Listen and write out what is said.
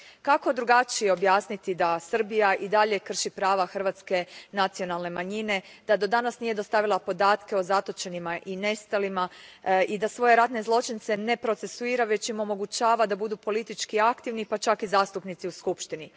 Kako drugačije objasniti da Srbija i dalje krši prava hrvatske nacionalne manjine, da do danas nije dostavila podatke o zatočenima i nestalima i da svoje ratne zločince ne procesuira, već im omogućava da budu politički aktivni, pa čak i zastupnici u Skupštini?